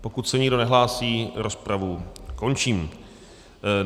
Pokud se nikdo nehlásí, rozpravu končím.